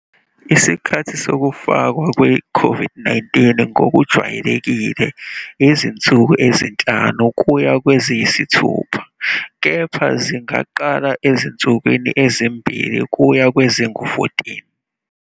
Isikhathi sokufakwa kwe-COVID-19 ngokujwayelekile izinsuku ezinhlanu kuya kweziyisithupha kepha zingaqala ezinsukwini ezimbili kuya kwezingu-14.